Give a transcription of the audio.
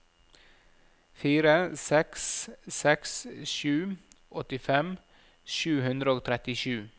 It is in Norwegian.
fire seks seks sju åttifem sju hundre og trettisju